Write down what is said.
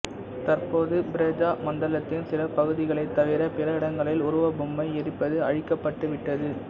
தற்போது பிரஜா மண்டலத்தின் சில பகுதிகளைத் தவிர பிற இடங்களில் உருவ பொம்மை எரிப்பது அழிக்கப்பட்டுவிட்டது